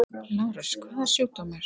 LÁRUS: Hvaða sjúkdómur?